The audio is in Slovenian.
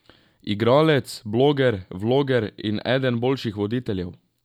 Igralec, bloger, vloger in eden boljših voditeljev.